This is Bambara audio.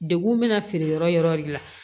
Degun bɛ na feere yɔrɔ de la